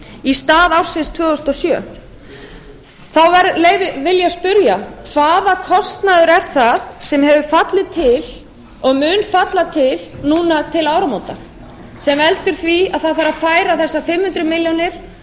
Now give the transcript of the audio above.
í stað ársins tvö þúsund og sjö þá vil ég spyrja hvaða kostnaður er það sem hefur fallið til og mun falla til núna til áramóta sem veldur því að það þarf að færa þessar fimm hundruð milljónir